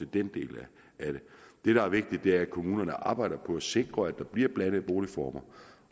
den del af det det der er vigtigt er at kommunerne arbejder på at sikre at der bliver blandede boligformer